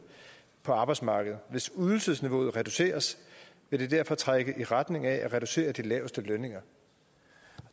på arbejdsmarkedet hvis ydelsesniveauet reduceres vil det derfor trække i retning af at reducere de laveste lønninger